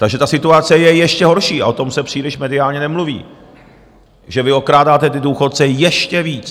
Takže ta situace je ještě horší a o tom se příliš mediálně nemluví, že vy okrádáte ty důchodce ještě víc.